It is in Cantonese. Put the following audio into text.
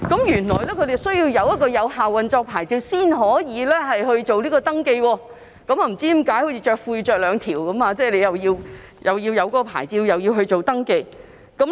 原來船隻須領有有效運作牌照才能進行登記，不知道為何要好像穿兩條褲子般，既要領有牌照，又要進行登記。